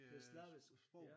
Det slavisk ja